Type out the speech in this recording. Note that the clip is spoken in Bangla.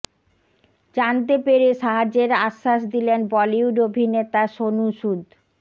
জানতে পেরে সাহায্যের আশ্বাস দিলেন বলিউড অভিনেতা সোনু সুদ